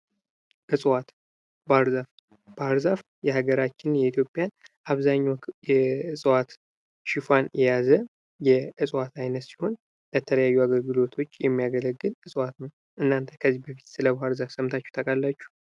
እፅዋት ፦ ባህር ዛፍ ፦ ባህር ዛፍ የሀገራችን የኢትዮጵያን አብዛኛው የእጽዋት ሽፋን የያዘ የእጽዋት ዓይነት ሲሆን ለተለያዩ አገልግሎቶች የሚያገለግል እፅዋት ነው ። እናንተ ከዚህ በፊት ስለ ባህር ዛፍ ሰምታችሁ ታውቃላችሁ ?